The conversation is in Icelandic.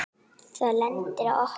Það lendir á okkur.